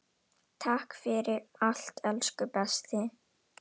Takk fyrir allt elsku besti.